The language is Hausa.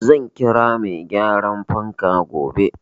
Zan kira mai gyaran fanka gobe.